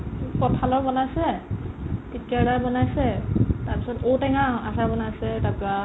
কঁঠালৰ বনাইছে, তিতকেৰেলাৰ বনাইছে তাৰপিছত ঔ টেঙাৰ আ ~ আচাৰ বনাই আছে তাৰপৰা